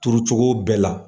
Turu cogo bɛɛ la.